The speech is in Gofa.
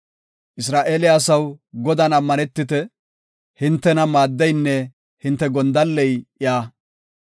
Isra7eele asaw, Godan ammanetite; hintena maaddeynne hinte gondalley iya.